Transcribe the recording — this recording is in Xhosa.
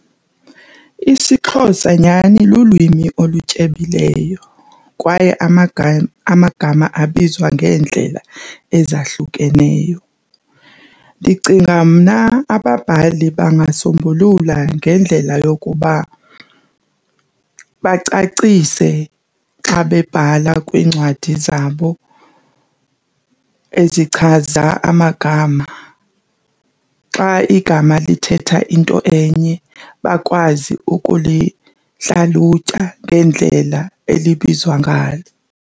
IsiXhosa nyhani lulwimi olutyebileyo kwaye amagama abizwa ngeendlela ezahlukeneyo. Ndicinga mna ababhali bangasombulula ngendlela yokuba bacacise xa bebhala kwiincwadi zabo ezichaza amagama. Xa igama lithetha into enye bakwazi ukulihlalutya ngendlela elibizwa ngalo.